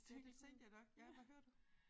Ja det tænkte jeg nok ja hvad hører du